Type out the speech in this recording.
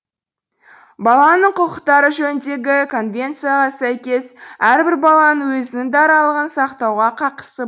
баланың құқықтары жөніндегі конвенцияға сәйкес әрбір баланың өзінің даралығын сақтауға қақысы